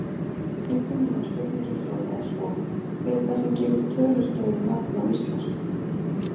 Upprunalega spurningin hljóðaði svo: Hver er það sem gefur tölustöfum nafn á íslensku?